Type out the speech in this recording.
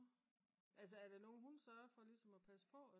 nå altså er det nogen hun sørger for ligesom at passe på?